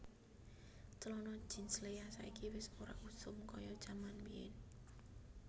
Celono jeans Lea saiki wis ora usum koyo jaman mbiyen